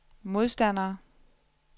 modstandere